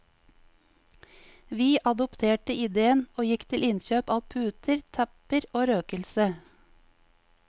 Vi adopterte ideen, og gikk til innkjøp av puter, tepper og røkelse.